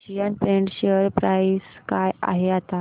Asian Paints share price काय आहे आता